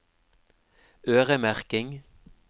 øremerking